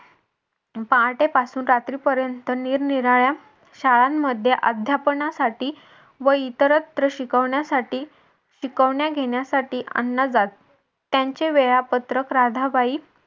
पहाटेपासून रात्रीपर्यंत निरनिराळ्या शाळांमध्ये अध्यापनासाठी व इतरत्र शिकवण्यासाठी शिकवण्या घेण्यासाठी अण्णा जात त्यांचे वेळापत्रक राधाबाई